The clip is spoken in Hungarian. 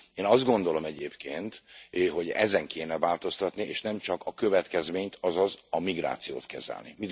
Én azt gondolom egyébként, hogy ezen kéne változtatni, és nem csak a következményt, azaz a migrációt kezelni.